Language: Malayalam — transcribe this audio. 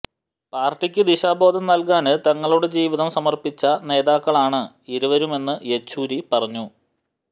പാര്ട്ടിക്ക് ദിശാബോധം നല്കാന് തങ്ങളുടെ ജീവിതം സമര്പ്പിച്ച നേതാക്കളാണ് ഇരുവരുമെന്ന് യെച്ചൂരി പറഞ്ഞു